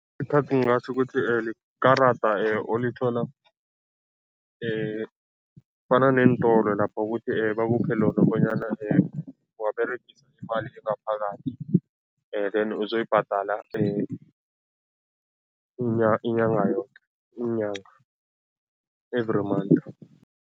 Ningatjho ukuthi likarada olithola fana neentolo lapha ukuthi bakuphe lona bonyana waberegise imali engaphakathi then uzoyibhadala inyanga yoke, iinyanga, every month.